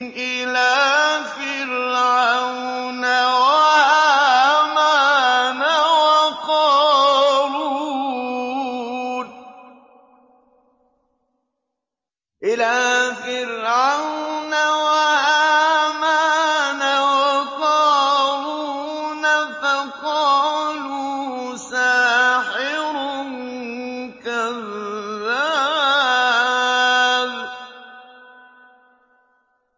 إِلَىٰ فِرْعَوْنَ وَهَامَانَ وَقَارُونَ فَقَالُوا سَاحِرٌ كَذَّابٌ